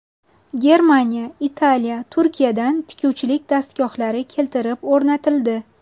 Germaniya, Italiya, Turkiyadan tikuvchilik dastgohlari keltirib o‘rnatildi.